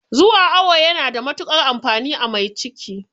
Zuwa awo yana da matuƙar amfani a mai ciki